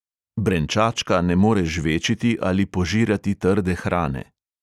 Brenčačka ne more žvečiti ali požirati trde hrane.